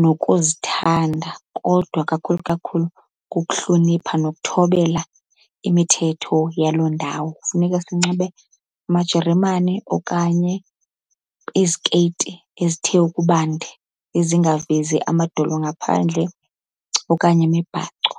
nokuzithanda, kodwa kakhulu kakhulu kukuhlonipha nokuthobela imithetho yaloo ndawo. Funeka sinxibe amajeremane okanye izikeyiti ezithe ukubande ezingavezi amadolo ngaphandle, okanye imibhaco.